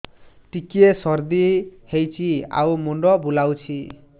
ଟିକିଏ ସର୍ଦ୍ଦି ହେଇଚି ଆଉ ମୁଣ୍ଡ ବୁଲାଉଛି